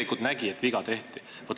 Vaat sellest mina aru ei saa.